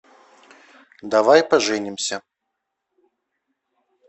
давай поженимся